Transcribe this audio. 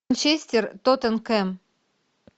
манчестер тоттенхэм